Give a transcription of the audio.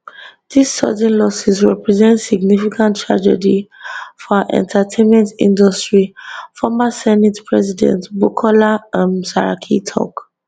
dis sudden losses represent significant tragedy for our entertainment industry former senate president bukola um saraki tok